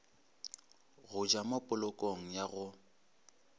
go ja mopolokong ya go